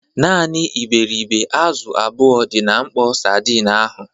Naanị iberịbe azụ abụọ dị na mkpọ sadin ahụ.